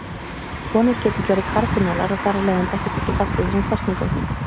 Konur geta ekki orðið kardínálar og þar af leiðandi ekki tekið þátt í þessum kosningum.